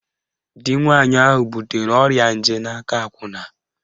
Di nwaanyị ahụ butere ọrịa nje n'aka akwụna